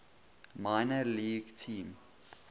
minor league team